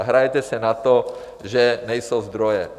A hrajete si na to, že nejsou zdroje.